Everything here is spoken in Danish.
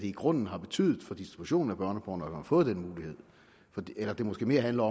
i grunden har betydet for distribution af børneporno at man har fået den mulighed måske handler